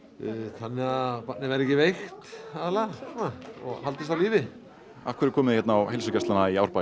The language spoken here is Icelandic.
þannig að barnið verði ekki veikt aðallega og haldist á lífi af hverju komið þið hérna á heilsugæsluna í Árbæ